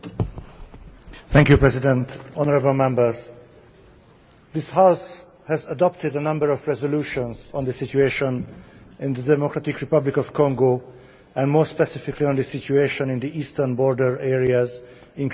Mr President, this House has adopted a number of resolutions on the situation in the Democratic Republic of Congo and more specifically on the situation in the eastern border areas, including the Kivus.